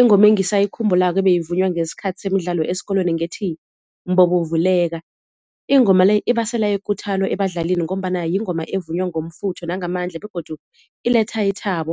Ingoma engisayikhumbulako ebeyivunywa ngesikhathi semidlalo esikolweni ngethi "mbobo vuleka", ingoma le ibasela ikuthalo ebadlalini ngombana yingoma evunywa ngomfutho nangamandla begodu iletha ithabo.